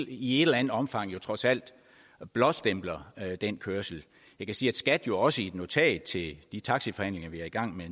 i et eller andet omfang jo trods alt blåstempler den kørsel jeg kan sige at skat jo også i et notat til de taxiforhandlinger vi er i gang med